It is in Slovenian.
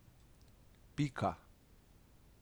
Pika!